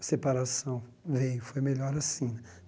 A separação veio, foi melhor assim né.